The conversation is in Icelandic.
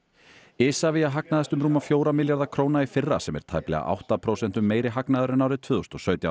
Isavia hagnaðist um rúma fjóra milljarða króna í fyrra sem er tæplega átta prósentum meiri hagnaður en árið tvö þúsund og sautján